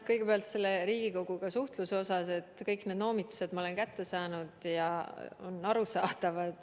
Kõigepealt, mis puutub Riigikoguga suhtlemisse, siis kõik need noomitused ma olen kätte saanud ja need on arusaadavad.